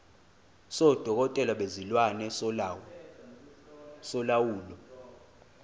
sodokotela bezilwane solawulo